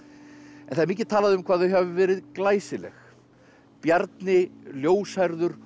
en það er mikið talað um hvað þau hafi verið glæsileg Bjarni ljóshærður og